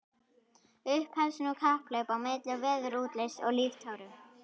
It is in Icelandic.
Upphefst nú kapphlaup á milli veðurútlits og líftóru.